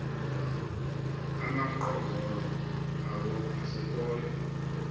amaqongqolo awo asekhoyo